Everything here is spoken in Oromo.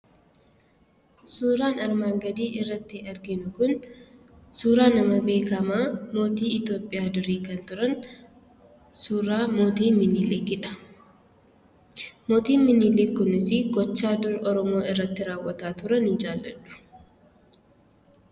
Suuraan armaan gadii irratti arginu kun suuraa nama beekamaa mootii Itoophiyaa durii kan turan suuraa mootii Miniliki dha. Mootiin minilik kunis gochaa dur Oromoo irratti raawwataa turan hin jaalladhu.